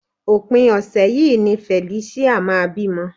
Òpin ọ̀sẹ̀ yìí ni Felicia máa bímọ